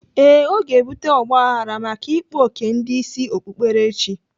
Ee, ọ ga-ebute ọgbaghrara maka ịkpa oké ndị isi okpukperechi.